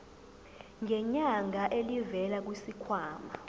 ngenyanga elivela kwisikhwama